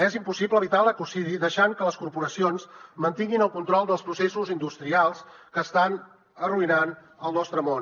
és impossible evitar l’ecocidi deixant que les corporacions mantinguin el control dels processos industrials que estan arruïnant el nostre món